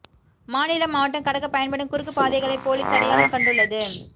மாநிலம் மாவட்டம் கடக்க பயன்படும் குறுக்குப் பாதைகளை போலீஸ் அடையாளம் கண்டுள்ளது